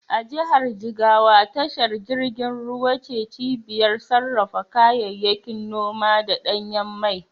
A jihar Jigawa tashar jirgin ruwa ce cibiyar safarar kayayyakin noma da ɗanyen mai.